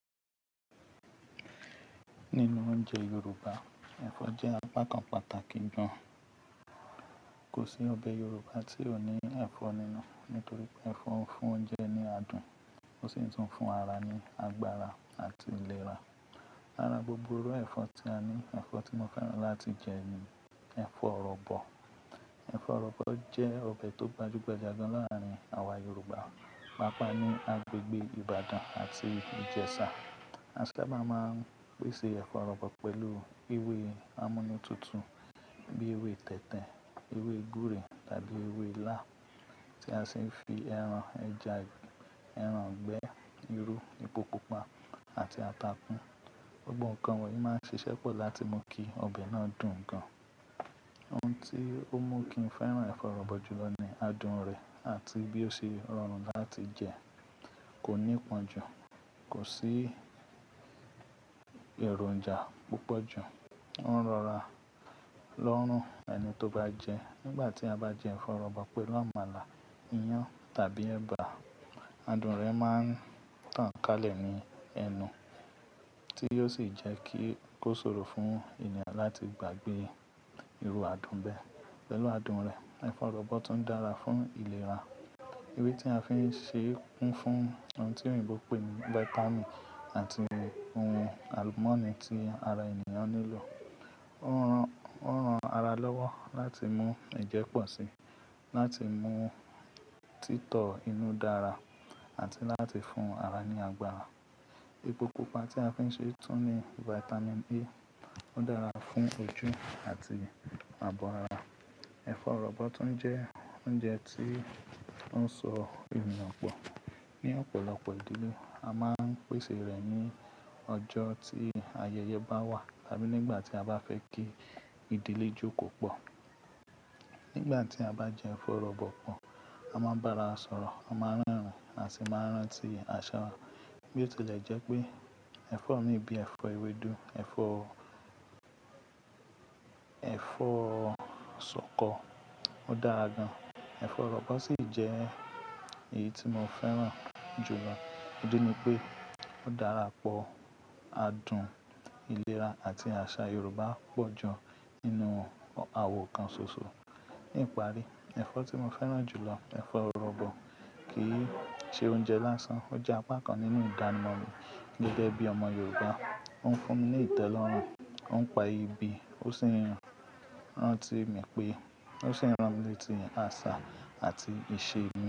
Nínú oúnjẹ Yorùbá, ẹ̀fọ́ jẹ́ apá kan pàtàkì gan. Kò sí ọbẹ̀ Yorùbá tí ò ní ẹ̀fọ́ nínú, nítorí pé ẹ̀fọ́ ń fún oúnjẹ ní adùn, ó sì ń tún fún ara ní agbára àti ìlera. Lára gbogbo irú ẹ̀fọ́ tí a ní, ẹ̀fọ́ tí mo fẹ́ràn láti jẹ ni ẹ̀fọ́ ọ̀rọ̀bọ̀. Ẹ̀fọ́ ọ̀rọ̀bọ̀ jẹ́ ọbẹ̀ tó gbajú-gbajà gan láàárin àwa Yorùbá, pàápàá ní agbègbè Ìbàdàn àti Ìjẹ̀ṣà. A sábà máa ń pèsè ẹ̀fọ́ ọ̀rọ̀bọ̀ pẹ̀lú ewé amúnútutù bíi ewé tẹ̀tẹ̀, ewé gúre tàbí ewé ilá tí a sì ń fi ẹran, ẹja, ẹran gbẹ́, irú, epo pupa àti ata kún. Gbogbo nǹkan wọ̀nyí máa ń ṣiṣẹ́ pọ̀ láti mú kí ọbẹ̀ náà dùn gan. Ohun tí ó mú kí n fẹ́ràn ẹ̀fọ́ ọ̀rọ̀bọ̀ jùlọ ni adùn rẹ̀ àti bí ó ṣe rọrùn láti jẹ. Kò ní pọ́n jù, kò sí èròǹjà púpọ̀ jù, ó ń rọra lọ́rùn ẹni tó bá jẹ. Nígbà tí a bá jẹ ẹ̀fọ́ ọ̀rọ̀bọ̀ pẹ̀lú àmàlà, iyán tàbí ẹ̀bà, adùn rẹ̀ máa ń tàn kálẹ̀ ní ẹnu, tí yóò sì jẹ́ kí ó ṣòro fún ènìyàn láti gbàgbé irú adùn bẹ́ẹ̀. Pẹ̀lú adùn rẹ̀, ẹ̀fọ́ ọ̀rọ̀bọ̀ tún dára fún ìlera. Ewé tí a fi ń ṣe é kún fún ohun tí òyìnbó pè ní Vitamin àti ohun alumọ́nì tí ara ènìyàn nílò. Ó ń ran, ó ń ran ara lọ́wọ́ láti mú ẹ̀jẹ̀ pọ̀ síi, láti mú títọ inú dára àti láti fún ara ní agbára. Epo Pupa tí a fi ń ṣe é tún ní Vitamin A, ó dára fún ojú àti abọ́ ara. Ẹ̀fọ́ ọ̀rọ̀bọ̀ tún jẹ́ oúnjẹ tí ó ń sọ èèyàn pọ̀. Ni ọ̀pọ̀lọpọ̀ ìdílé, a máa ń pèsè rẹ̀ ní ọjọ́ tí ayẹyẹ bá wà tàbí nígbà tí a bá fẹ́ kí ìdílé jókòó pọ̀. Nígbà tí a bá jẹ ẹ̀fọ́ ọ̀rọ̀bọ̀ pọ̀, a máa ń bára sọ̀rọ̀, a máa ń rẹ́rìn-ín àti máa ń rántí àṣà wa. Bí ó tilẹ̀ jẹ́ pé ẹ̀fọ́ mí bíi ẹ̀fọ́ ewédú, ẹ̀fọ́, ẹ̀fọ́ ṣọkọ, ó dára gan. Ẹ̀fọ́ ọ̀rọ̀bọ̀ sì jẹ́ èyí tí mo fẹ́ràn jùlọ. Ídí ni pé ó dára pọ̀, adùn, ìlera àti àṣà Yorùbá pọ̀ jù nínú àwọ̀ kan ṣoṣo. Ní ìparí, ẹ̀fọ́ tí mo fẹ́ràn jù lọ, ẹ̀fọ́ ọ̀rọ̀bọ̀, kì í ṣe oúnjẹ lásán, ó jẹ́ apá kan nínú ìdánimọ̀ mi gẹ́gẹ́ bí ọmọ Yorùbá. Ó ń fún mi ní ìtẹ́lọ́rùn, ó ń pa ibi, ó sì ń ran, rán tí mi pé, ó sì ń ran mi letí àṣà àti ìṣe mi.